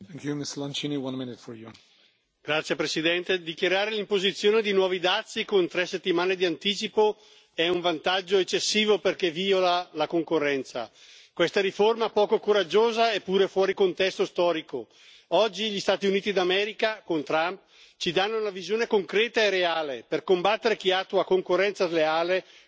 Signor Presidente, onorevoli colleghi, dichiarare l'imposizione di nuovi dazi con tre settimane di anticipo è un vantaggio eccessivo perché viola la concorrenza. Questa riforma poco coraggiosa è pure fuori contesto storico. Oggi gli Stati Uniti d'America, con Trump, ci danno una visione concreta e reale per combattere chi attua la concorrenza sleale